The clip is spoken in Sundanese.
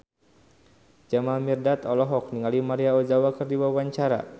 Jamal Mirdad olohok ningali Maria Ozawa keur diwawancara